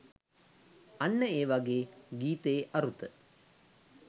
අන්න ඒ වගේ ගීතයේ අරුත